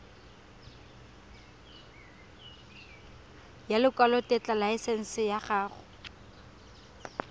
ya lekwalotetla laesense ya go